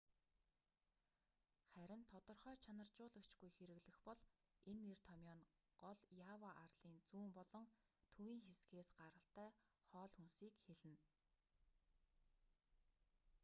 харин тодорхой чанаржуулагчгүй хэрэглэх бол энэ нэр томъёо нь гол ява арлын зүүн болон төвийн хэсгээс гаралтай хоол хүнсийг хэлнэ